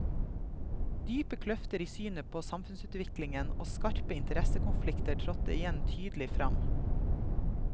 Dype kløfter i synet på samfunnsutviklingen og skarpe interessekonflikter trådte igjen tydelig frem.